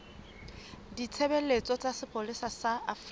ditshebeletso tsa sepolesa sa afrika